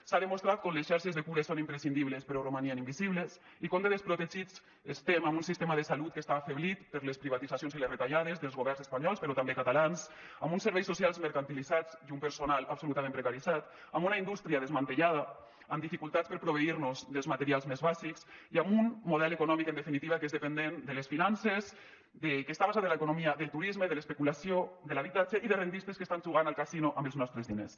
s’ha demostrat que les xarxes de cures són imprescindibles però romanien invisibles i com de desprotegits estem amb un sistema de salut que està afeblit per les privatitzacions i les retallades dels governs espanyols però també catalans amb uns serveis socials mercantilitzats i un personal absolutament precaritzat amb una indústria desmantellada amb dificultats per proveir nos dels materials més bàsics i amb un model econòmic en definitiva que és dependent de les finances que està basat en l’economia del turisme de l’especu lació de l’habitatge i de rendistes que estan jugant al casino amb els nostres diners